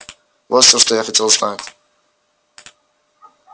вот все что я хотел знать